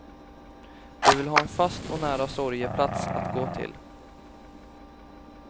De vill ha en fast och nära sorgeplats att gå till.